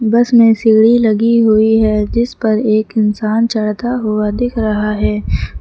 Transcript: बस में सीढ़ी लगी हुई है जिस पर एक इंसान चढ़ता हुआ दिख रहा है।